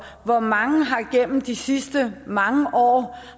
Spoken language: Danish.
hvor mange har gennem de sidste mange år